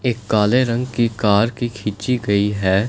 एक काले रंग की कार की खींची गई है।